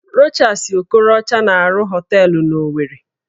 Rochas Okorocha na-arụ họteelụ n'Owerri